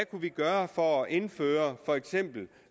kunne gøre for at indføre for eksempel